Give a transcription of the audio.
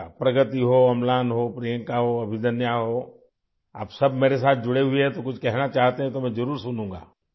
پرگتی ہو ، املان ہو ، پرینکا ہو اور ابھیدنیا ہو ، آپ سب میرے ساتھ جڑے ہوئے ہیں، اس لیے اگر آپ کچھ کہنا چاہیں تو میں ضرور سنوں گا